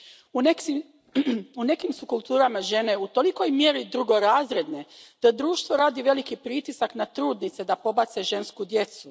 U nekim su kulturama žene u tolikoj mjeri drugorazredne da društvo radi veliki pritisak na trudnice da pobace žensku djecu.